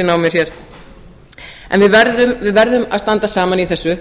sín á mér hér en við verðum að standa saman í þessu